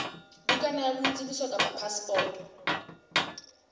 bukana ya boitsebiso kapa phasepoto